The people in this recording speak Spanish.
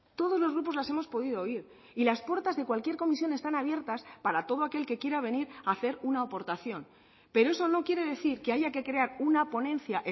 todos los grupos las hemos podido oír y las puertas de cualquier comisión están abiertas para todo aquel que quiera venir a hacer una aportación pero eso no quiere decir que haya que crear una ponencia